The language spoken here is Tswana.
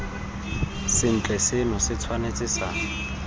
sentle seno se tshwanetse sa